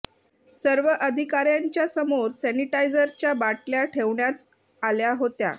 सर्व अधिकाऱ्यांच्या समोर सॅनिटायझरच्या बाटल्या ठेवण्याच आल्या होत्या